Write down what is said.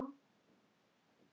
Sagði svo